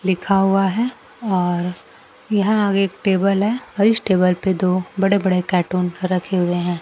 लिखा हुआ है और यहां आगे एक टेबल है और इस टेबल पे दो बड़े बड़े कार्टून रखे हुए हैं।